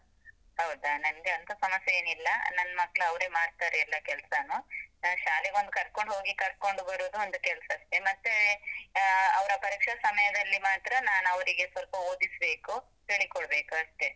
ಹೌದಾ? ನನ್ಗೆ ಅಂತ ಸಮಸ್ಯೆ ಏನಿಲ್ಲ, ನನ್ ಮಕ್ಳು ಅವ್ರೇ ಮಾಡ್ತಾರೆ ಎಲ್ಲ ಕೆಲ್ಸಾನೂ, ನಾನ್ ಶಾಲೆಗೊಂದ್ ಕರ್ಕೊಂಡ್ ಹೋಗಿ ಕರ್ಕೊಂಡ್ ಬರುದ್ ಒಂದ್ ಕೆಲ್ಸ ಅಷ್ಟೆ, ಮತ್ತೆ ಆಹ್ ಅವ್ರ ಪರೀಕ್ಷೆ ಸಮಯದಲ್ಲಿ ಮಾತ್ರ ನಾನ್ ಅವ್ರಿಗೆ ಸ್ವಲ್ಪ ಓದಿಸ್ಬೇಕು, ಹೇಳಿ ಕೊಡ್ಬೇಕು ಅಷ್ಟೆ.